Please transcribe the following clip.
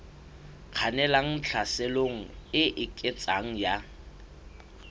kgannelang tlhaselong e eketsehang ya